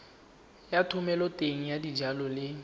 ya thomeloteng ya dijalo le